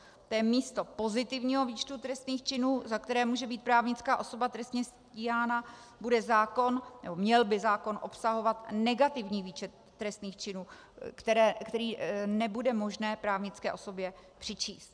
Místo pozitivního výčtu trestných činů, za které může být právnická osoba trestně stíhána, by měl zákon obsahovat negativní výčet trestných činů, které nebude možné právnické osobě přičíst.